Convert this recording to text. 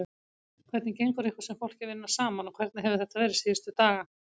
Hvernig gengur ykkur sem fólki að vinna saman og hvernig hefur þetta verið síðustu daga?